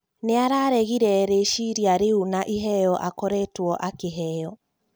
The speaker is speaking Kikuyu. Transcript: Nĩararegire rĩciria rĩu na iheo akoretwo akĩheo